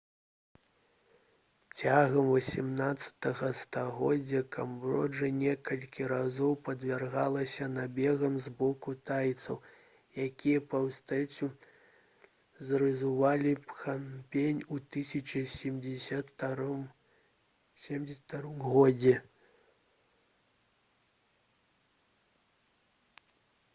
цягам 18-га стагоддзя камбоджа некалькі разоў падвяргалася набегам з боку тайцаў якія поўнасцю зруйнавалі пнампень у 1772 годзе